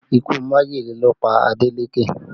Ikú majele ló pa Adeleke